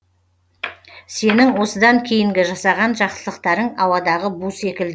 сенің осыдан кейінгі жасаған жақсылықтарың ауадағы бу секілді